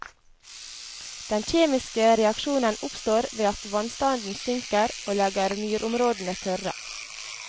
Den kjemiske reaksjonen oppstår ved at vannstanden synker og legger myrområdene tørre.